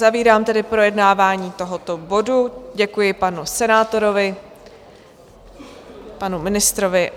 Uzavírám tedy projednávání tohoto bodu, děkuji panu senátorovi, panu ministrovi.